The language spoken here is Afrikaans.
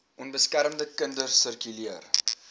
onbeskermde kinders sirkuleer